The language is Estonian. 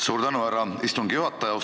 Suur tänu, härra istungi juhataja!